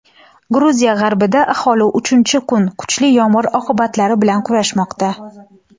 Gruziya g‘arbida aholi uchinchi kun kuchli yomg‘ir oqibatlari bilan kurashmoqda.